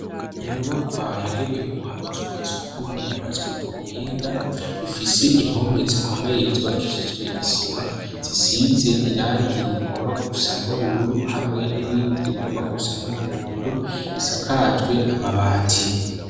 Inyubakwa yagenewe ubuzu bwasugumwe yubatswe ku buhinga ifise impome zikomeye zubakishijwe isima zisize irangi rigomba gusa n'ubururu hamwe n'irindi rigomba gusa n'umuhondo isakajwe amabati.